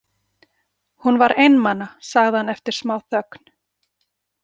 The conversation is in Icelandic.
Hún var einmana, sagði hann eftir smáþögn.